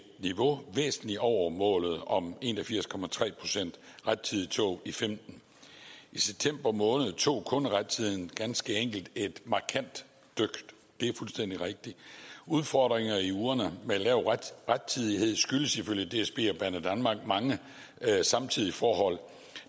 niveau væsentligt over målet om en og firs procent rettidige tog i femten i september måned tog kunderettidigheden ganske enkelt et markant dyk det er fuldstændig rigtigt udfordringer i ugerne med lav rettidighed skyldtes ifølge dsb og banedanmark mange samtidige forhold